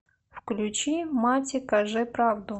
включи мати каже правду